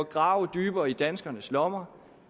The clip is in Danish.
grave dybere i danskernes lommer